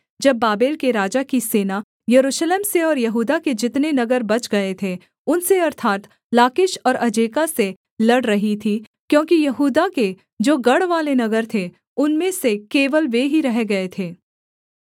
जब बाबेल के राजा की सेना यरूशलेम से और यहूदा के जितने नगर बच गए थे उनसे अर्थात् लाकीश और अजेका से लड़ रही थी क्योंकि यहूदा के जो गढ़वाले नगर थे उनमें से केवल वे ही रह गए थे